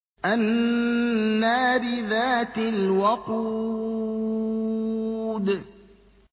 النَّارِ ذَاتِ الْوَقُودِ